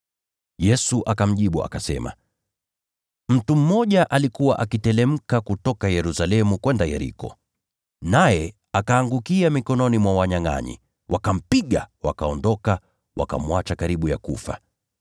Yesu akamjibu akasema, “Mtu mmoja alikuwa akiteremka kutoka Yerusalemu kwenda Yeriko, naye akaangukia mikononi mwa wanyangʼanyi. Wakampiga, wakaondoka, wakamwacha akiwa karibu kufa.